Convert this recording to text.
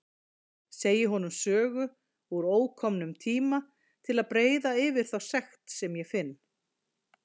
Segi honum sögu úr ókomnum tíma til að breiða yfir þá sekt sem ég finn.